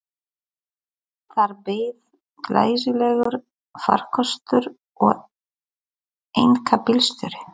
Þar beið glæsilegur farkostur og einkabílstjóri.